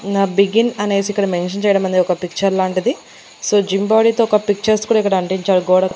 Now begin అనేసి ఇక్కడ mention చేయడం అనేది ఒక పిక్చర్ లాంటిది సో జిమ్ బోడి తో ఒక పిక్చర్స్ కూడా అంటించారు గోడకు.